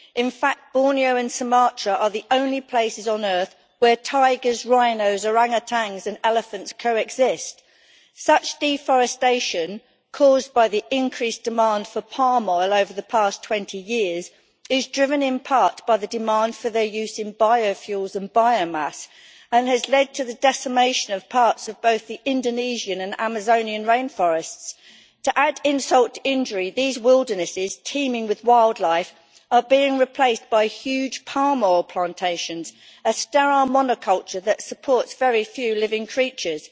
In fact Borneo and Sumatra are the only places on earth where tigers, rhinos, orang utans and elephants coexist. Such deforestation, caused by the increased demand for palm oil over the past 20 years, is driven in part by the demand for their use in biofuels and biomass, and has led to the decimation of parts of both the Indonesian and Amazonian rainforests. To add insult to injury, these wildernesses, teeming with wildlife, are being replaced by huge palm oil plantations, a sterile monoculture that supports very few living creatures.